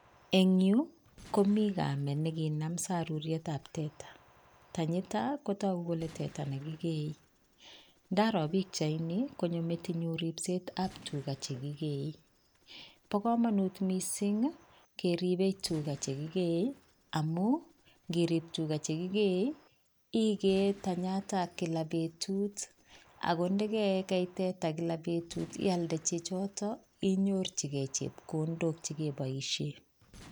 Eng yu komi kamet nekinam saruryetap teta. Tanyito kotoku kole teta nekikee. Ndaro pikchaini konyo metinyu ripset ap tuga chekikee. Po komonut mising keripe tuga chekikee amu nkirip tuga chekikee ikee tanyata kila petut ako ndekekei teta kila petut ialde chechoto inyorchikei chepkondok chikepoishe.